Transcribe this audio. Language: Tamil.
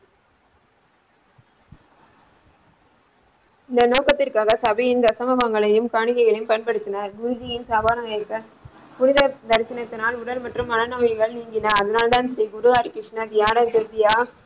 இந்த நோக்கத்திற்காக சபையின் தசம மங்களங்களையும் காணிக்கைகளையும் பயன்படுத்தினார் குருஜியின் சவாலை ஏற் புனித தரிசனத்தினால் உடல் மற்றும் மன நோய்கள் நீங்கின அதனால் தான் குரு ஹரி கிருஷ்ணன் தியான ரீதியா?